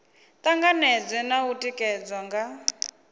tanganedzwe na u tikedzwa nga